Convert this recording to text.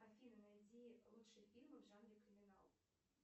афина найди лучшие фильмы в жанре криминал